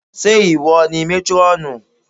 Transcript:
Ṣé ìwọ ni métrọ́ọ̀nù?